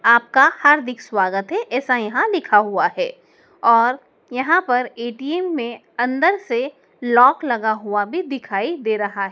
आपका हार्दिक स्वागत है ऐसा यहां लिखा हुआ है और यहां पर ए_टी_एम में अंदर से लॉक लगा हुआ भी दिखाई दे रहा है।